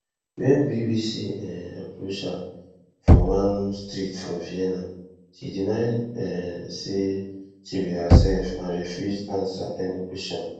wen bbc um approach her for one street for vienna she deny um say she be hersef and refuse ansa any kwesion